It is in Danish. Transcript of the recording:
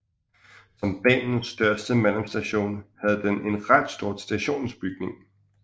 Som banens største mellemstation havde den en ret stor stationsbygning